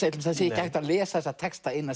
það sé ekki hægt að lesa þessa texta eina